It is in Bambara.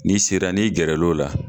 N'i sera ni gɛrɛ l'o la